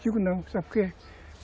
Digo não, sabe por quê?